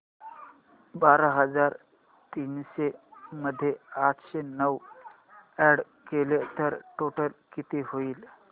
बारा हजार तीनशे मध्ये आठशे नऊ अॅड केले तर टोटल किती होईल